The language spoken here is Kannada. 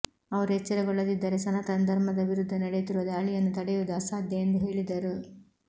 ಅವರು ಎಚ್ಚರಗೊಳ್ಳದಿದ್ದರೆ ಸನಾತನ ಧರ್ಮದ ವಿರುದ್ಧ ನಡೆಯುತ್ತಿರುವ ದಾಳಿಯನ್ನು ತಡೆಯುವುದು ಅಸಾಧ್ಯ ಎಂದು ಹೇಳಿದರು